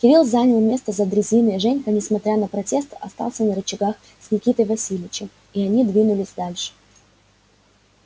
кирилл занял место за дрезиной женька несмотря на протест остался на рычагах с никитой васильевичем и они двинулись дальше